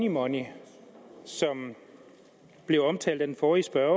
money som blev omtalt af den forrige spørger